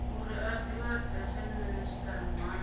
uri a divhadea minisiṱa muhasho